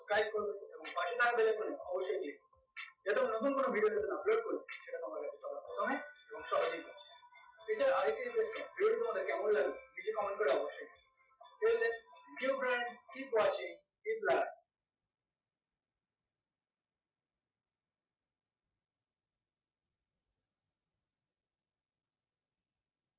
guide করবে একদম নতুন কোনো video যেদিন upload করবো সেটা সময়ব্যাপী চালানো হবে প্রথমেই এছাড়া আরেকটি request video টি তোমার কেমন লাগলো নিচ্ছে comment করো অবশ্যই tell them keep watching